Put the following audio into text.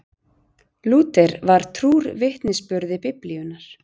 lúther var trúr vitnisburði biblíunnar